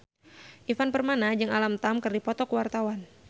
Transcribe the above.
Ivan Permana jeung Alam Tam keur dipoto ku wartawan